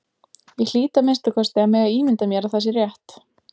Ég hlýt að minnsta kosti að mega ímynda mér að það sé rétt.